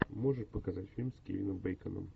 можешь показать фильм с кевином бейконом